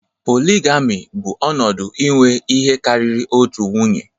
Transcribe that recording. Polygyny bụ ọnọdụ inwe ihe karịrị otu nwunye